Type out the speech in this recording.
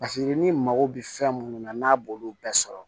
ni mago bɛ fɛn munnu na n'a b'olu bɛɛ sɔrɔ